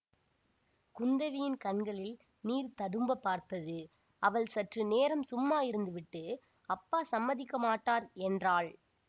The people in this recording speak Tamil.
குந்தவியின் கண்களில் நீர் ததும்பப் பார்த்தது அவள் சற்று நேரம் சும்மா இருந்துவிட்டு அப்பா சம்மதிக்க மாட்டார் என்றாள்